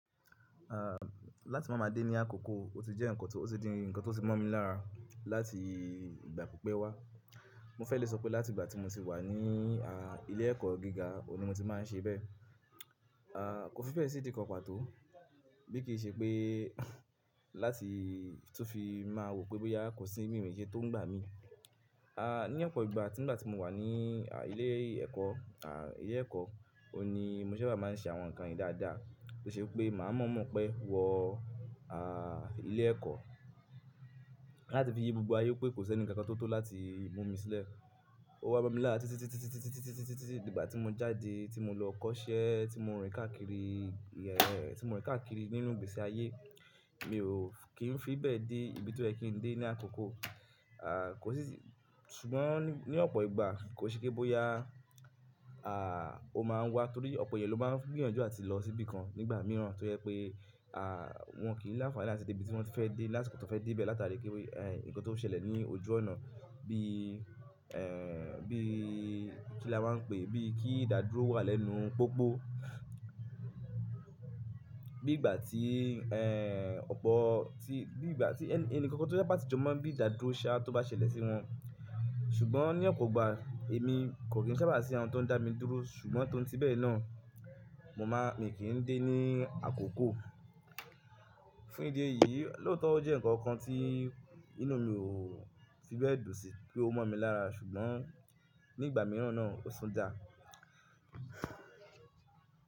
À, láti máa ma dé ní àkókò o ti jẹ́ ǹkan tó, o ti di ǹkan tó ti mọ́ mi lára láti ìgbà púpẹ́ wá. Mo fẹ́ lè sọ pé láti ìgbà tí mo ti wà ní a, ilé ẹ̀kọ́ gíga òní mo ti máa n ṣe bẹ́ẹ̀. À, kò fi bẹ́ẹ̀ sí di kan pató, bí kì í ṣe pé láti tó fi máa wò pé bóyá kò sí ìmímu ike tó ń gbà mí. À, ní ọ̀pọ̀ ìgbà nígbà tí mo wà ní a, ilé ẹ̀kọ́, a, ilé ẹ̀kọ́, òní mo sábà máa n ṣe àwọn ǹkan yìí dáadáa tó ṣe pé màá mọ̀ọ́mọ̀ pé wọ a, ilé ẹ̀kọ́ láti fi yí gbogbo ayé pé kò sí ǹkan kan tó tó láti mú mi sílẹ̀. Ó wá bá mi lára títí, títí, títí, títí, títí, títí, títí, títí ìgbà tí mo jáde tí mo lọ kọ́ṣẹ́ tí mo rìn káàkiri, ẹ́, tí mo rìn káàkiri nínú gbèsè ayé mi ò, kí n fi bẹ́ẹ̀ dé ibi tó yẹ kí n dé ní àkókò. À, kò sí, ṣùgbọ́n ní ọ̀pọ̀ ìgbà kò ṣe pé bóyá a, o máa ń wá torí ọ̀pọ̀ ẹyẹ ló máa ń gbìyànjú àti lọ síbi kan nígbà mìíràn tó yẹ pé a, wọn kì í láfààní láti dé ibi tí wọ́n fẹ́ dé, lásìkò tó fẹ́ dé bẹ́ẹ̀ látàrí pé ẹ́, ǹkan tó ṣẹlẹ̀ ní ojú ọ̀nà bí ẹ́, bí kí la máa ń pè é, bí kí ìdádúró wà lẹ́nu pópó. Bí ìgbà tí ẹ́, ọ̀pọ̀ tí, bí ìgbà tí ẹni kankan tó bá ti jọ mọ bí ìdádúró ṣe á tó bá ṣẹlẹ̀ sí wọn. Ṣùgbọ́n ní ọ̀pọ̀ ìgbà èmi kò kí n sábà sí àwọn tó ń dá mi dúró ṣùgbọ́n torí tí bẹ́ẹ̀ náà mo má, èmi kì í dé ní àkókò. Fún ìdí èyí lóòótọ́ ó jẹ́ ǹkan kan tí inú mi ò fi bẹ́ẹ̀ dùnsí pé ó mọ̀ mí lára ṣùgbọ́n nígbà mìíràn náà ó sún dáa.